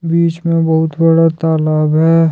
बीच में बहुत बड़ा तालाब है।